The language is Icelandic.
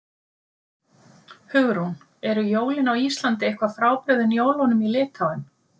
Hugrún: Eru jólin á Íslandi eitthvað frábrugðin jólunum í Litháen?